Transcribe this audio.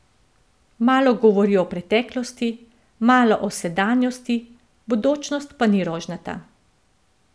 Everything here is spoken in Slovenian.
Malo govori o preteklosti, malo o sedanjosti, bodočnost pa ni rožnata.